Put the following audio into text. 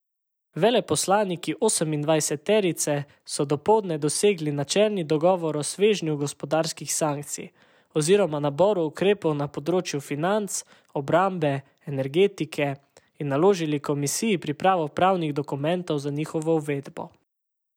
Veleposlaniki osemindvajseterice so dopoldne dosegli načelni dogovor o svežnju gospodarskih sankcij oziroma naboru ukrepov na področju financ, obrambe in energetike, in naložili komisiji pripravo pravnih dokumentov za njihovo uvedbo.